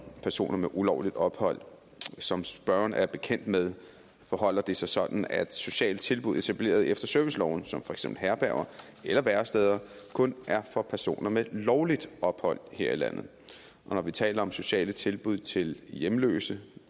personer med ulovligt ophold som spørgeren er bekendt med forholder det sig sådan at sociale tilbud etableret efter serviceloven som for eksempel herberger eller væresteder kun er for personer med lovligt ophold her i landet og når vi taler om sociale tilbud til hjemløse